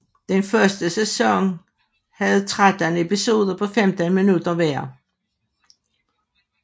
Den første sæson havde tretten episoder på 15 minutter hver